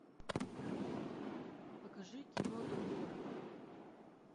покажи кино дублеры